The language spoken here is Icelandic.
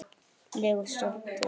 legu stolti.